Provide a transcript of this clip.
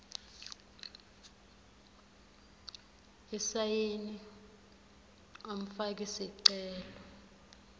isayini umfaki sicelo